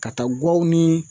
Ka taa guwaw ni